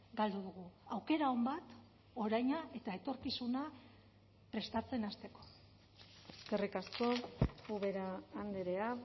galdu dugu aukera on bat oraina eta etorkizuna prestatzen hasteko eskerrik asko ubera andrea